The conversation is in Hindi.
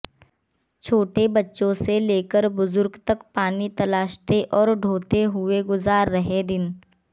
छोटे बच्चों से लेकर बुजुर्ग तक पानी तलाशते और ढोते हुए गुजार रहे दिन